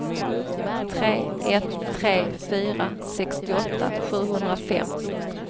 tre ett tre fyra sextioåtta sjuhundrafem